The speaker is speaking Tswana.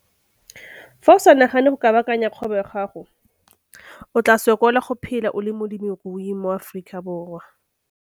Fa o sa nagane go kabakanya kgwebo ya gago, o tlaa sokola go phela o le molemirui mo Aforikaborwa.